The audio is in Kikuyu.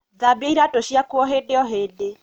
Thambia iratū ciaku o hīndī o hīndī.